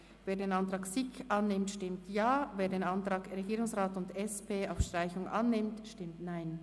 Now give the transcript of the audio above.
Wer den Antrag SiK annimmt, stimmt Ja, wer den Antrag Regierungsrat und SP-JUSO-PSA auf Streichung annimmt, stimmt Nein.